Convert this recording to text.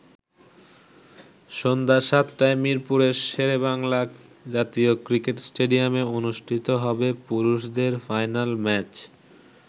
সন্ধ্যা ৭টায় মিরপুরের শেরেবাংলা জাতীয় ক্রিকেট স্টেডিয়ামে অনুষ্ঠিত হবে পুরুষদের ফাইনাল ম্যাচ।